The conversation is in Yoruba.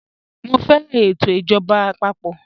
Mọ fẹran ètò ijọba àpapọ̀.